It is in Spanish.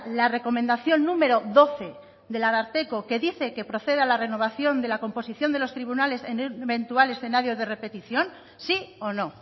la recomendación número doce del ararteko que dice que proceda a la renovación de la composición de los tribunales en el eventual escenario de repetición sí o no